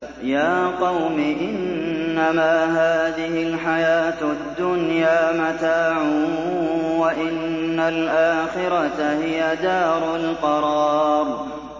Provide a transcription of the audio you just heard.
يَا قَوْمِ إِنَّمَا هَٰذِهِ الْحَيَاةُ الدُّنْيَا مَتَاعٌ وَإِنَّ الْآخِرَةَ هِيَ دَارُ الْقَرَارِ